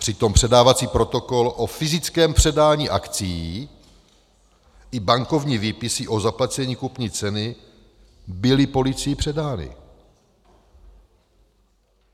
Přitom předávací protokol o fyzickém předání akcií i bankovní výpisy o zaplacení kupní ceny byly policií předány.